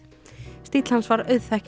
stíll hans var